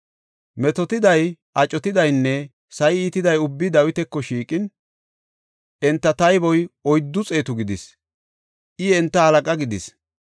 Metootiday, acotidaynne sa7i iitida ubbay Dawitako shiiqin, enta tayboy oyddu xeetu gidis; I enta halaqa gidis.